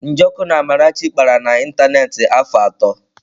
Njoku na Amarachi kpara na ịntanetị afọ atọ.